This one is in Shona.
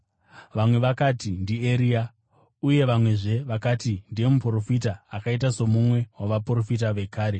Vamwe vakati, “NdiEria.” Uye vamwezve vakati, “Ndiye muprofita, akaita somumwe wavaprofita vekare.”